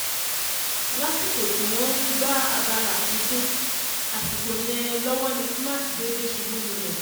lásìkò tí wọ́n ń gba abala àfikún àsìkò yẹn lọ́wọ́ ni cs] smart déédé ṣubú lulẹ̀